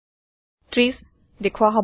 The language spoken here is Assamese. ৩০ দেখোৱা হব